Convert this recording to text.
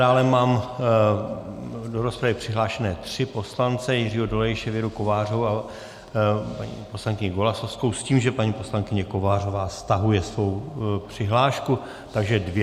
Dále mám do rozpravy přihlášené tři poslance - Jiřího Dolejše, Věru Kovářovou a paní poslankyni Golasowskou s tím, že paní poslankyně Kovářová stahuje svou přihlášku, takže dvě.